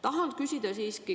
Tahan siiski küsida sellist asja.